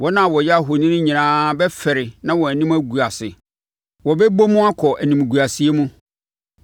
Wɔn a wɔyɛ ahoni nyinaa bɛfɛre na wɔn anim agu ase; wɔbɛbɔ mu akɔ animguaseɛ mu.